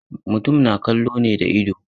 Mutum na kallo ne da idao.